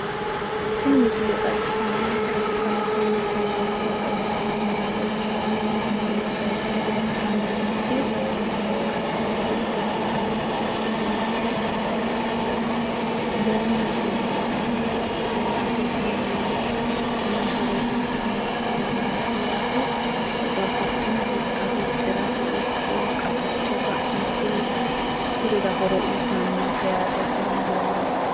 Tini misile xawissannonkehu kalaqonna qooxeessa xawissano misile ikitanna Konne bayicho leeltanni nooti kalaqu gido hatto mitte ikkitinoti leemete yineemote yaate tini leeme babbaxxitino horo uyitano leemeeti yaate babbaxino huxxa huxxirate ikko qaficho ga'nate duchurira horo uyitanno yaate tini leeme.